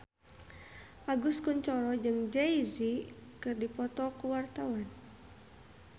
Agus Kuncoro jeung Jay Z keur dipoto ku wartawan